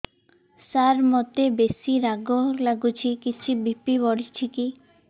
ସାର ମୋତେ ବେସି ରାଗ ଲାଗୁଚି କିଛି ବି.ପି ବଢ଼ିଚି କି